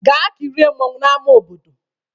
Gaa kirie mmọnwụ n'ama obodo!